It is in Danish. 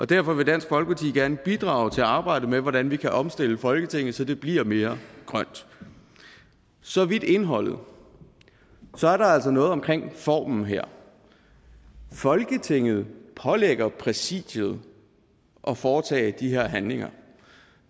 derfor vil dansk folkeparti gerne bidrage til arbejdet med hvordan vi kan omstille folketinget så det bliver mere grønt så vidt indholdet så er der altså noget omkring formen her folketinget pålægger præsidiet at foretage de her handlinger